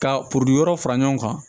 Ka yɔrɔ fara ɲɔgɔn kan